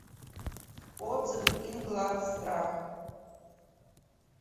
отзывы инглавстрах